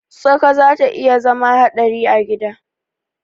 Tsaka zata iya zama hadari a gida.